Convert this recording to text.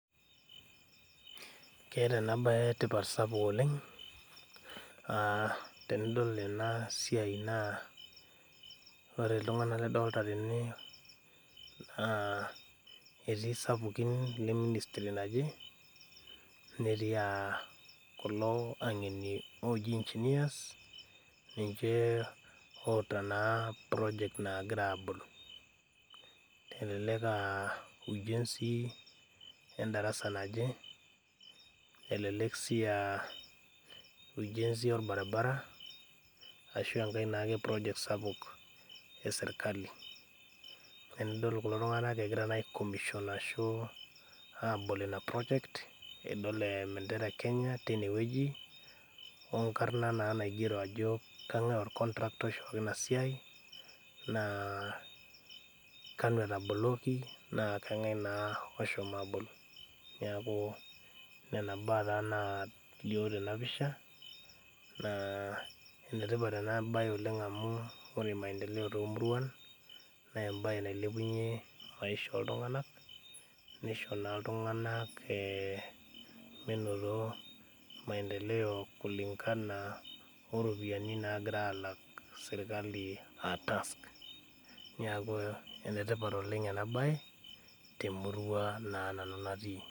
Keeta ena baye tipat sapuk oleng uh tenidol ena siai naa ore iltung'anak lidolta tene naa etii isapukin le ministry naje netii uh kulo ang'eni oji engineers ninche oota naa project nagira abol elelek aa ujenzi endarasa naje elelek sii aa ujenzi orbaribara ashu enkae naake project sapuk esirkali ore enidol kulo tung'anak egira naa ae commision ashu abol ina project edol eh embendera e kenya teine wueji onkarrna naa naigero ajo kang'ae ol contractor oishooki ina siai naa kanu etaboloki naa kang'ae naa oshomo abol niaku nena baa taa naalio tenapisha naa enetipat ena baye oleng amu ore maendele tomuruan nembaye nailepunyie maisha oltung'anak nisho naa iltung'anak eh minoto maendeleo kulingana oropiyiani nagira alak sirkali a task neku enetipat oleng ena baye temurua naa nanu natii.